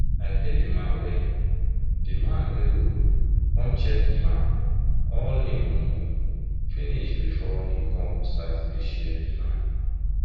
i pay dey man wen dey man wen go com check dey land all him moni finish before him come start dey share d land